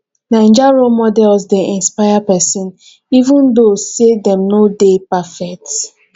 naija role models dey inspire pesin even though say dem no dey perfect